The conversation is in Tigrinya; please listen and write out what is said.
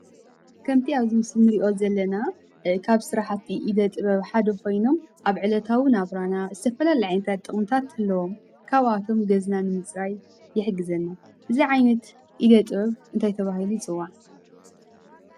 ከምቲ ኣብዚ ምስሊ ንሪኦ ዘለና ካብ ስራሕቲ ኢደ ጥበብ ሓደ ኾይኖም ኣብ ዕለታዊ ናብራና ዝተፈላለዩ ዓይነታት ጥቕምታት ኣለዎም፡፡ ካብኣቶም ገዛ ንምፅራይ ይሕግዘና፡፡ እዚ ዓይነት ኢደ ጥበብ እንታይ ተባሂሉ ይፅዋዕ?